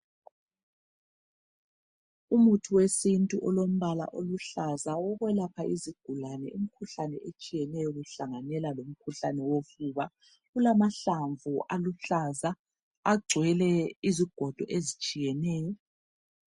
Umuntu wesintu olombala oluhlaza owekwelapha izigulani imikhuhlane etshiyeneyo kuhlanganela lomkhuhlane wofuba kulamahlamvu aluhlaza agcwele izigodo ezitshiyeneyo.